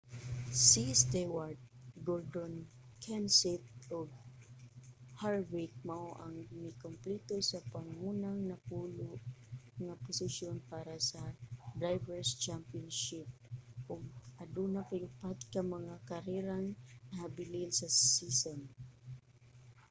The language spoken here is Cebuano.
si stewart gordon kenseth ug harvick mao ang mikumpleto sa pangunang napulo nga posisyon para sa drivers' championship ug aduna pay upat ka mga karerang nahabilin sa season